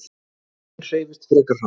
Röðin hreyfist frekar hratt.